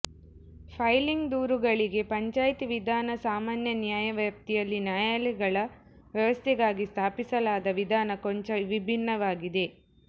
filing ದೂರುಗಳಿಗೆ ಪಂಚಾಯ್ತಿ ವಿಧಾನ ಸಾಮಾನ್ಯ ನ್ಯಾಯವ್ಯಾಪ್ತಿಯಲ್ಲಿ ನ್ಯಾಯಾಲಯಗಳ ವ್ಯವಸ್ಥೆಗಾಗಿ ಸ್ಥಾಪಿಸಲಾದ ವಿಧಾನ ಕೊಂಚ ವಿಭಿನ್ನವಾಗಿದೆ